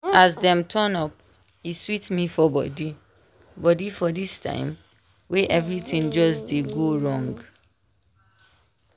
as dem turn up e sweet me for body body for this time wey everything just dey go wrong.